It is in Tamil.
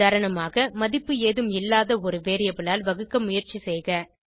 உதாரணமாக மதிப்பு ஏதும் இல்லாத ஒரு வேரியபிள் ஆல் வகுக்க முயற்சி செய்க